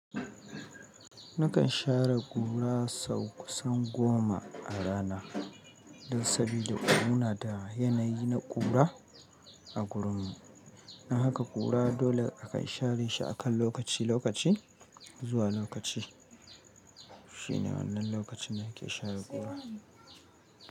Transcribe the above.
Nakan share kura sau kusan goma a rana, don saboda muna da yanayi na ƙura a gurinmu. Nan haka ƙura dole aka share shi a kan lokaci lokaci zuwa lokaci. Shine wannan lokacin da ake share ƙura.